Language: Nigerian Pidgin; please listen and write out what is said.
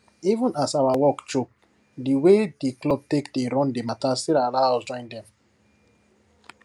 even as awa work choke di way dey club take dey run di matter still allow us join dem